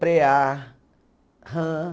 preá, rã.